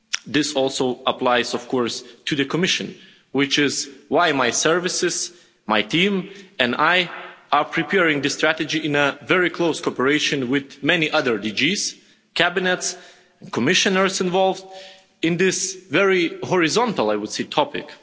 This also applies, of course, to the Commission, which is why my services, my team and I are preparing the strategy in a very close cooperation with many other DGs, Cabinets and Commissioners involved in this very horizontal, I would say, topic.